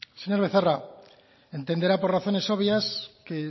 señor becerra entenderá por razones obvias que